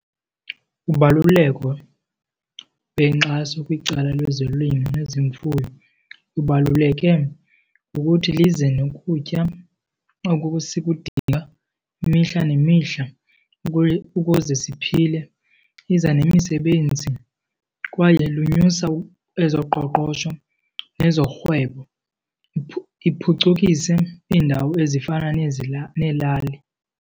Ubaluleko lwenkxaso kwicala lezolimo nezemfuyo lubaluleke ngokuthi lize nokutya oku sikudinga imihla nemihla ukuze siphile, iza nemisebenzi kwaye lunyusa ezoqoqosho nezorhwebo, iphucukise iindawo ezifana neelali.